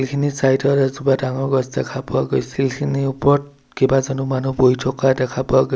ইখিনি চাইড ত এজোপা ডাঙৰ গছ দেখা পোৱা গৈছিল শিলখিনিৰ ওপৰত কেইবাজনো মানুহ বহি থকা দেখা পোৱা গৈ--